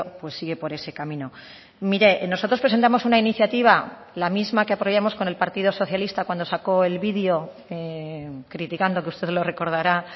pues sigue por ese camino mire nosotros presentamos una iniciativa la misma que apoyamos con el partido socialista cuando sacó el vídeo criticando que usted lo recordará